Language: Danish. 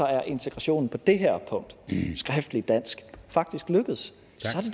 er integrationen på det her punkt skriftlig dansk faktisk lykkedes